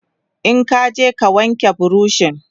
in kaje ka wanke burushin!